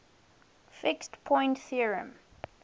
fixed point theorem